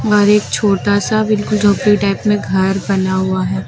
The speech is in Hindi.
बाहर एक छोटा सा बिल्कुल झोपड़ी टाइप में घर बना हुआ है।